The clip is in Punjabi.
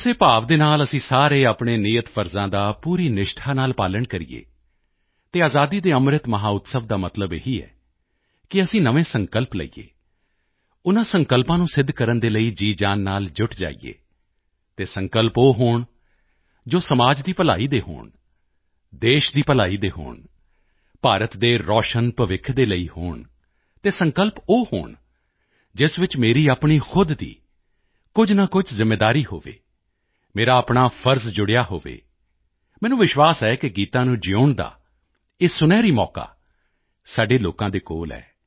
ਉਸੇ ਭਾਵ ਦੇ ਨਾਲ ਅਸੀਂ ਸਾਰੇ ਆਪਣੇ ਨਿਯਤ ਫ਼ਰਜ਼ਾਂ ਦਾ ਪੂਰੀ ਨਿਸ਼ਠਾ ਨਾਲ ਪਾਲਣ ਕਰੀਏ ਤੇ ਆਜ਼ਾਦੀ ਦੇ ਅੰਮ੍ਰਿਤ ਮਹੋਤਸਵ ਦਾ ਮਤਲਬ ਇਹੀ ਹੈ ਕਿ ਅਸੀਂ ਨਵੇਂ ਸੰਕਲਪ ਲਈਏ ਉਨ੍ਹਾਂ ਸੰਕਲਪਾਂ ਨੂੰ ਸਿੱਧ ਕਰਨ ਦੇ ਲਈ ਜੀਅਜਾਨ ਨਾਲ ਜੁੱਟ ਜਾਈਏ ਅਤੇ ਸੰਕਲਪ ਉਹ ਹੋਣ ਜੋ ਸਮਾਜ ਦੀ ਭਲਾਈ ਦੇ ਹੋਣ ਦੇਸ਼ ਦੀ ਭਲਾਈ ਦੇ ਹੋਣ ਭਾਰਤ ਦੇ ਰੌਸ਼ਨ ਭਵਿੱਖ ਦੇ ਲਈ ਹੋਣ ਅਤੇ ਸੰਕਲਪ ਉਹ ਹੋਣ ਜਿਸ ਵਿੱਚ ਮੇਰੀ ਆਪਣੀ ਖੁਦ ਦੀ ਕੁਝ ਨਾ ਕੁਝ ਜ਼ਿੰਮੇਵਾਰੀ ਹੋਵੇ ਮੇਰਾ ਆਪਣਾ ਫਰਜ਼ ਜੁੜਿਆ ਹੋਵੇ ਮੈਨੂੰ ਵਿਸ਼ਵਾਸ ਹੈ ਕਿ ਗੀਤਾ ਨੂੰ ਜਿਊਣ ਦਾ ਇਹ ਸੁਨਹਿਰੀ ਮੌਕਾ ਸਾਡੇ ਲੋਕਾਂ ਦੇ ਕੋਲ ਹੈ